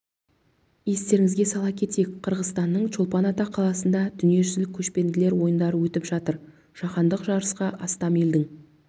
естеріңізге сала кетейік қырғызстанның чолпан ата қаласында дүниежүзілік көшпенділер ойындары өтіп жатыр жаһандық жарысқа астам елдің